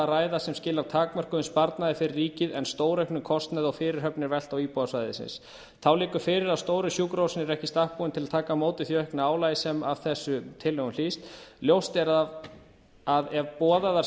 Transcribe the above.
ræða sem skilar takmörkuðum sparnaði fyrir ríkið en stórauknum kostnaði og fyrirhöfn er velt á íbúa svæðisins þá liggur fyrir að stóru sjúkrahúsin eru ekki í stakk búin til að taka á móti því aukna álagi sem af þessum tillögum hlýst ljóst er að ef boðaðar